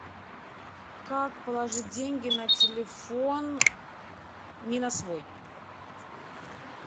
как положить деньги на телефон не на свой